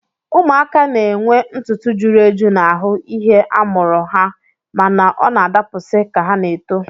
Ụmụaka na-enwe ntụtụ juru eju n'ahụ ihe a mụrụ ha mana ọ na-adapụsị ka ha na-eto